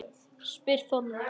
spyr Þórður